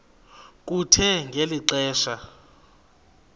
kuthe ngeli xesha